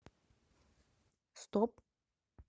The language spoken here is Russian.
стоп